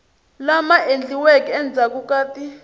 lama endliweke endzhaku ka ti